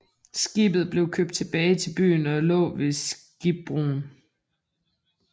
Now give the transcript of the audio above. Skibet blev købt tilbage til byen og lå ved Skibbroen